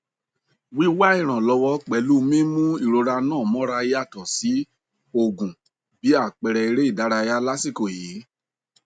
wíwá ìrànwọ pẹlú mímú ìrora ńà mọra yàtọ sí òògùn bí àpẹẹrẹ eré ìdárayá lásìkò yìí